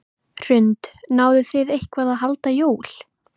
Hrund: Náðuð þið eitthvað að halda jól?